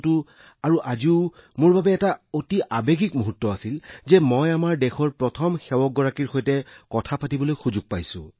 গতিকে তেতিয়াও আৰু আজিও এইটো মোৰ বাবে এক অতি আৱেগিক মুহূৰ্ত আছিল যে মই আমাৰ দেশৰ প্ৰধান সেৱকৰ সৈতে কথা পাতিবলৈ সক্ষম হৈছো